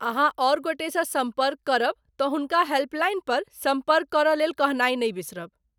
अहाँ आओर गोटेसँ सम्पर्क करब तँ हुनका हेल्पलाइन पर सम्पर्क करयलेल कहनाइ नहि बिसरब।